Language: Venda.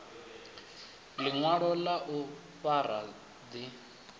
ḽiṅwalo ḽa u fara ḓi